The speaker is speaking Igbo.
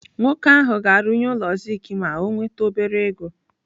Nwoke ahụ ga-arụnye ụlọ zink ma o nwete obere ego.